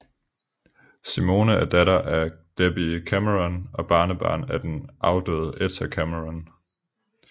Simone er datter af Debbie Cameron og barnebarn af afdøde Etta Cameron